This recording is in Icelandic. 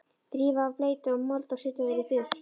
Þrífa af bleytu og mold og setja þær í þurrt.